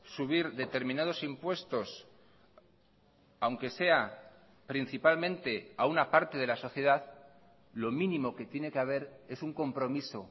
subir determinados impuestos aunque sea principalmente a una parte de la sociedad lo mínimo que tiene que haber es un compromiso